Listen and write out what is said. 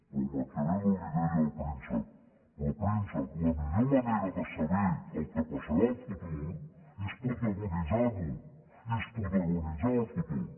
però maquiavel li deia al príncep però príncep la millor manera de saber què passarà al futur és protagonitzar lo és protagonitzar el futur